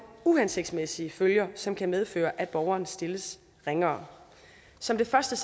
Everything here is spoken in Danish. uhensigtsmæssige følger som kan medføre at borgeren stilles ringere som det første